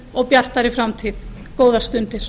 og bjartari framtíð góðar stundir